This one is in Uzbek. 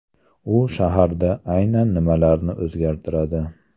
U shaharda aynan nimalarni o‘zgartiradi?